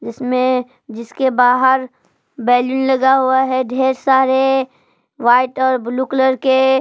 इसमें जिसके बाहर बैलून लगा हुआ है ढेर सारे व्हाइट और ब्लू कलर के।